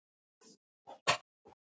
Krútt og ekki krútt.